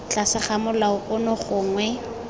tlase ga molao ono gongwe